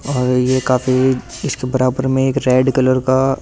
और ये काफी इसके बराबर में एक रैड कलर का --